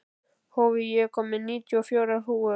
Hófí, ég kom með níutíu og fjórar húfur!